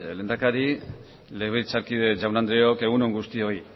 lehendakari legebiltzarkide jaun andreok egun on guztioi